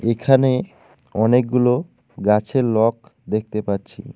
এখানে অনেকগুলো গাছের লক দেখতে পাচ্ছি।